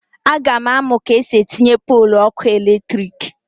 A ga m amụ ka esi etinye polụ ọkụ eletrik